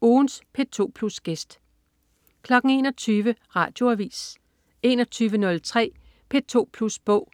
Ugens P2 Plus-gæst 21.00 Radioavis 21.03 P2 Plus Bog*